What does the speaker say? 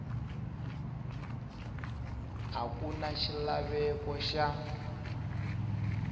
a ku na xilaveko xa